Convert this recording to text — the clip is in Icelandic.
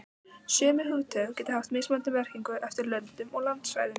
Sömu hugtök geta haft mismunandi merkingu eftir löndum og landsvæðum.